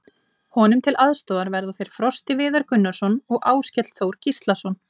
Honum til aðstoðar verða þeir Frosti Viðar Gunnarsson og Áskell Þór Gíslason.